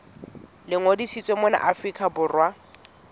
le ngodisitsweng mona afrika borwa